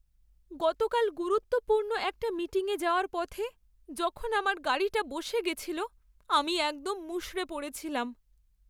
গতকাল গুরুত্বপূর্ণ একটা মিটিংয়ে যাওয়ার পথে যখন আমার গাড়িটা বসে গেছিল, আমি একদম মুষড়ে পড়েছিলাম।